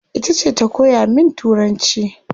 Itace ta koya min turanci